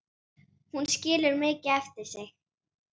Hún skilur mikið eftir sig.